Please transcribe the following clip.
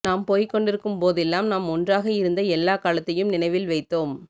நாம் போய்க்கொண்டிருக்கும்போதெல்லாம் நாம் ஒன்றாக இருந்த எல்லா காலத்தையும் நினைவில் வைத்தோம்